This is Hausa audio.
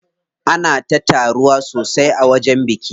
Ana ta taruwa sosai a wajen bikin.